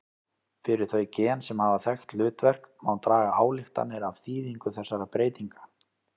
Fyrir þau gen sem hafa þekkt hlutverk má draga ályktanir af þýðingu þessara breytinga.